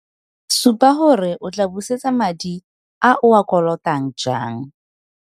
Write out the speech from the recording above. Supa gore o tlaa busetsa madi a o a kolotang jang.